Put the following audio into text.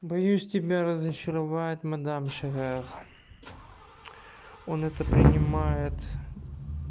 боюсь тебя разочаровать мадам шагах он это принимает